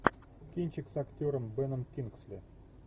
кинчик с актером беном кингсли